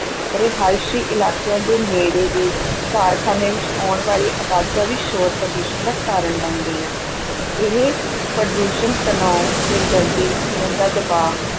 ਰਹਾਇਸ਼ੀ ਇਲਾਕਿਆਂ ਦੇ ਨੇੜੇ ਦੇ ਕਾਰਖਾਨਿਆਂ ਵਿੱਚ ਆਉਣ ਵਾਲੀ ਅਵਾਜ਼ਾਂ ਵੀ ਸ਼ੋਰ-ਪ੍ਰਦੂਸ਼ਣ ਦਾ ਕਾਰਨ ਬਣ ਗਈਆਂ ਹਨ, ਇਹ ਪ੍ਰਦੂਸ਼ਣ ਤਣਾਅ, ਸਿਰਦਰਦੀ, ਖੂਨ ਦਾ ਦਬਾਅ